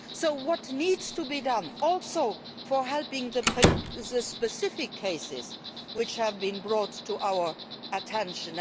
So what needs to be done to help the specific cases which have been brought to our attention?